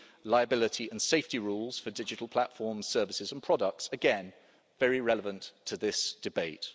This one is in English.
liability and safety rules for digital platforms, services and products again, very relevant to this debate.